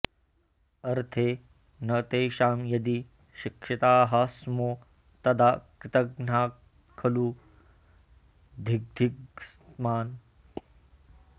अर्थे न तेषां यदि शिक्षिताः स्मो तदा कृतघ्नात्खलु धिग्धिगस्मान्